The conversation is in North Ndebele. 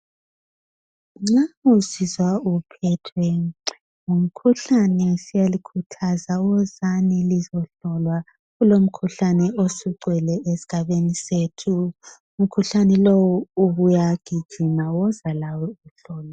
nxa usizwa uphethwe ngumkhuhlane siyalikhuthaza wozani lizohlolwa kulomkhuhlane osugcwele esigabeni sethu umkhuhlane lowu ubuyagijima woza lawo uzohlolwa